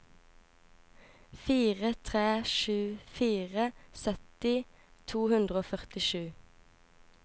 fire tre sju fire sytti to hundre og førtisju